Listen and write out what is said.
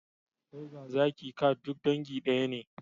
Tiger, zaki, cat duk dangi daya ne